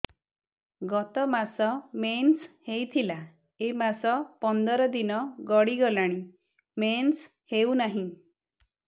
ଗତ ମାସ ମେନ୍ସ ହେଇଥିଲା ଏ ମାସ ପନ୍ଦର ଦିନ ଗଡିଗଲାଣି ମେନ୍ସ ହେଉନାହିଁ